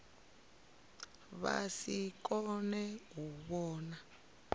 vha si kone u vhona